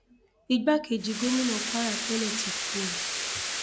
igbákejì gómìnà kwara tẹlẹ ti kú o